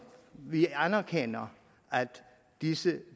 vi anerkender at disse